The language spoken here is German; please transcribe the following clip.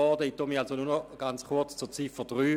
Ich äussere mich deshalb nur noch kurz zu Ziffer 3.